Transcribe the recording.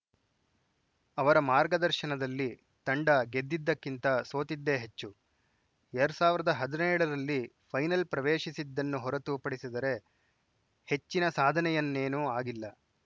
ಅವರ ಮಾರ್ಗದರ್ಶನದಲ್ಲಿ ತಂಡ ಗೆದ್ದಿದ್ದಕ್ಕಿಂತ ಸೋತಿದ್ದೇ ಹೆಚ್ಚು ಎರ ಸಾವಿರದ ಹದಿನೇಳ ರಲ್ಲಿ ಫೈನಲ್‌ ಪ್ರವೇಶಿಸಿದ್ದನ್ನು ಹೊರತು ಪಡಿಸಿದರೆ ಹೆಚ್ಚಿ ಸಾಧನೆಯನ್ನೇನೂ ಆಗಿಲ್ಲ